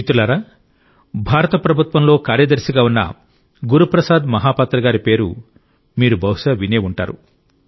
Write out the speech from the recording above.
మిత్రులారా భారత ప్రభుత్వంలో కార్యదర్శిగా ఉన్న గురు ప్రసాద్ మహా పాత్ర గారి పేరు మీరు బహుశా విని ఉంటారు